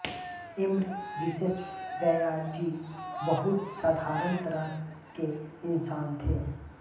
M Visvesvaraya ji बहुत साधारण तरह के इन्सान थे